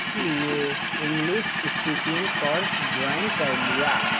इसलिए English speaking course join कर लिया